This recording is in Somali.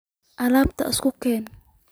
Alabtan suuga keex.